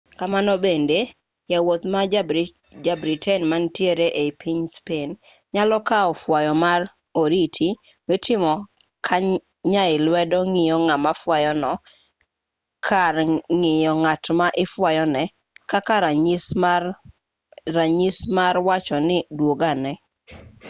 kamano bende jawuoth ma ja-britain manitiere ei piny spain nyalo kao fwayo mar oriti mitimo ka nyai lwedo ng'iyo ngama fuayo no kar ng'iyo ng'at ma ifwayone kaka ranyisi no mar wacho ni dwogane